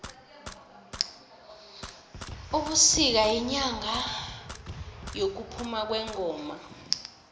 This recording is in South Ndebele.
ubisika yinyanga yekuphuma kwengoma